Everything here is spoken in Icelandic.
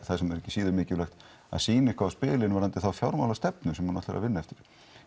það sem er ekki síður mikilvægt að sína eitthvað á spilin varðandi þá fjármálastefnu sem hún ætlar að vinna eftir